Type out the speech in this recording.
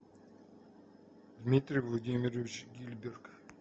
дмитрий владимирович гильберг